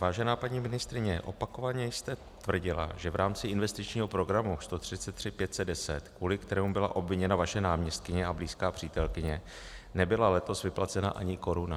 Vážená paní ministryně, opakovaně jste tvrdila, že v rámci Investičního programu 133510, kvůli kterému byla obviněna vaše náměstkyně a blízká přítelkyně, nebyla letos vyplacena ani koruna.